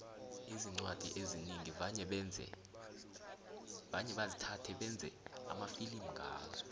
iincwadi ezinengi vane basithathe bayenze amafilimu ngazo